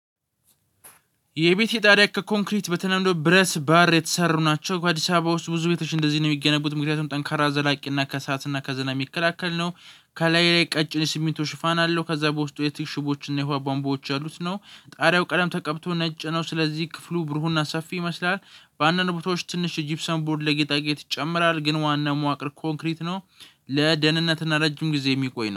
የቤት ኢጣሊያ ከኮንክሪት በተለምዶ ብረስ ባር የተሰሩ ናቸው በአዲስ አበባ ውስጥ ብዙ ቤቶች እንደዚህ ነው የሚገነቡት ምክንያቱም ጠንካራ ዘላቂና ከሰአትና ከዝናብ የሚከላከል ነው። ከላይ ላይ ቀጭን ስሚንቶ ሽፋን አለው ከዛ በውስጡ የቲግ ሽቦዎች እና የቧንቧዎች ያሉት ነው። ጣሪያው ቀለም ተቀብቶ ነጭ ነው ስለዚህ ክፍሉ ብሩህና ሰፊ ይመስላል። በአንዳንድ ቦታዎች ትንሽ የጂፕሰን ቦርድ ለጌጣጌጥ ይጨምራል ግን ዋና መዋቅር ኮንክሪት ነው። ለደህንነትና ረጅም ጊዜ የሚቆይ ነው